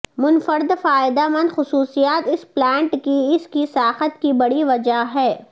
منفرد فائدہ مند خصوصیات اس پلانٹ کی اس کی ساخت کی بڑی وجہ ہے